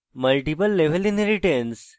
multiple level inheritance